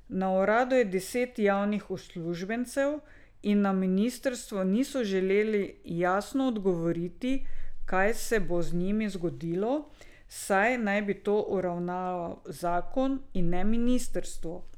Na uradu je deset javnih uslužbencev in na ministrstvu niso želeli jasno odgovoriti, kaj se bo z njimi zgodilo, saj naj bi to uravnaval zakon, in ne ministrstvo.